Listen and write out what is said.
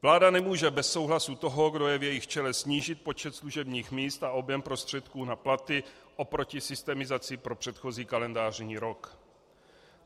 Vláda nemůže bez souhlasu toho, kdo je v jejich čele, snížit počet služebních míst a objem prostředků na platy oproti systemizaci pro předchozí kalendářní rok.